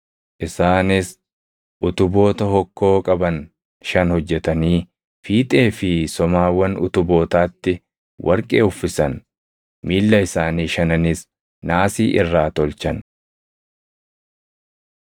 Isaanis utuboota hokkoo qaban shan hojjetanii, fiixee fi somaawwan utubootaatti warqee uffisan; miilla isaanii shananis naasii irraa tolchan.